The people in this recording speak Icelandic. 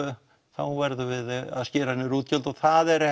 þá verðum við að skera niður útgjöld og það er